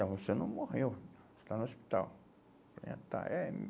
Não, você não morreu, está no hospital. É, tá, eh...